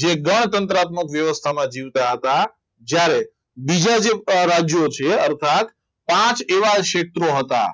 જે ગણતંત્ર આત્મવ્યવસ્થામાં જીવતા હતા જ્યારે બીજા જે રાજ્યો છે અર્થાત પાંચ એવા ક્ષેત્રો હતા